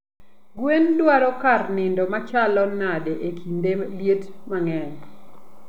gwen dwaro kat nindo machalo nade e kinde liet mangeny?